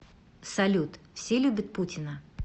салют все любят путина